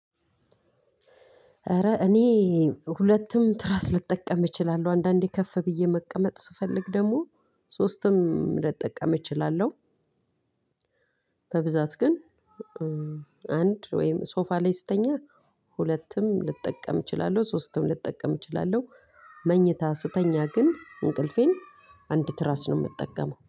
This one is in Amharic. ኧረ እኔ ሁለትም ትራስ ልጠቀም እችላለሁ አንዳንዴ ከፍ ብዬ መቀመጥ ስፈልግ ደግሞ ሶስትም ልጠቀም እችላለሁ። በብዛት ግን አንድ ወይም ሶፋ ላይ ስተኛ ሁለትም ልጠቀም እችላለሁ ሶስትም ልጠቀም እችላለሁ። መኝታ ስተኛ ግን እንቅልፌን አንድ ትራስ ነው የምጠቀመው